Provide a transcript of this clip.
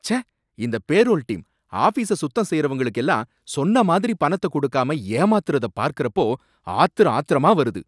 ச்சே! இந்த payroll team, ஆபீஸ சுத்தம் செய்யுறவங்களுக்கு எல்லாம் சொன்ன மாதிரி பணத்த கொடுக்காம ஏமாத்துறத பார்க்கறப்போ ஆத்திர ஆத்திரமா வருது